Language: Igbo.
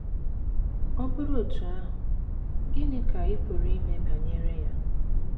Ọ bụrụ otú ahụ, gịnị ka ị pụrụ ime banyere ya?